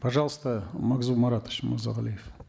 пожалуйста магзум маратович мырзагалиев